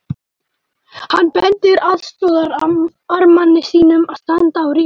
Hann bendir aðstoðarmanni sínum að standa á rýni.